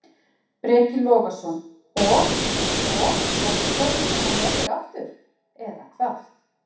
Breki Logason: Og, og verður flogið með hann norður aftur, eða hvað?